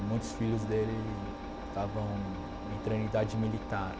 muitos filhos dele estavam em treinidade militar.